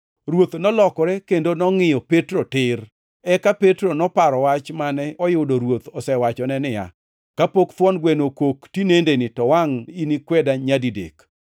Ruoth nolokore kendo nongʼiyo Petro tir. Eka Petro noparo wach mane oyudo Ruoth osewachone niya, “Kapok thuon gweno okok tinendeni, to wangʼ inikweda nyadidek.”